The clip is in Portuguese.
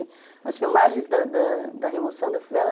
As filmagens da da remoção da favela...